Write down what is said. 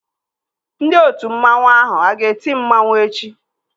Ndị otu mmanwu ahụ a ga-eti mmanwu echi?